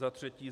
Za třetí.